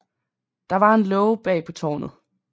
Der var en låge bag på tårnet